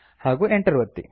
ಹಾಗೂ Enter ಒತ್ತಿ